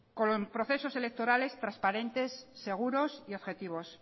con procesos electorales transparentes seguros y objetivos